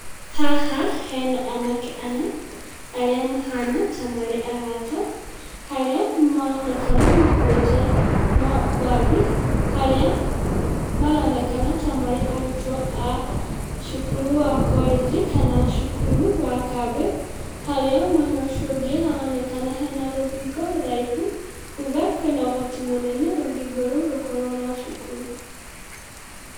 Haha hena anake ana arĩa mahana ta marĩ arata ,harĩa maronekana makuĩte mbagi, harĩa maronekana ta marĩ arutwo a cukuru wa korĩnji kana cukuru wa kambĩ harĩa mwena ũcio ũngĩ haronekana hena rũthingo rũraihu kuga hena ũhoti mũnene rũthingo rũu rũkwo rwa cukuru